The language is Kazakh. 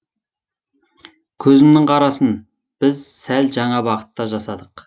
көзімнің қарасын біз сәл жаңа бағытта жасадық